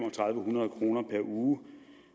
hundrede kroner per uge